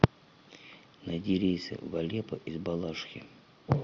найди рейсы в алеппо из балашихи